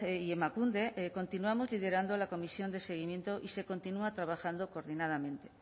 y emakunde continuamos liderando la comisión de seguimiento y se continúa trabajando coordinadamente